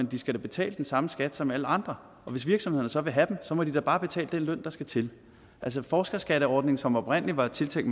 de skal da betale den samme skat som alle andre og hvis virksomhederne så vil have dem må de da bare betale den løn der skal til altså forskerskatteordningen som oprindelig var tiltænkt